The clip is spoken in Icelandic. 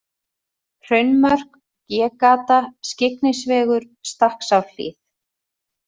Hraunmörk, G-Gata, Skyggnisvegur, Stakksárhlíð